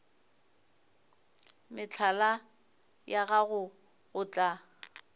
mehlala ya gago go tla